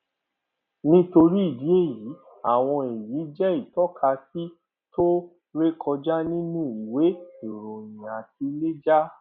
nítorí ìdí èyí àwọn èyí jẹ ìtọkasí tó rékọjá nínú ìwé ìròyìn àti lẹjà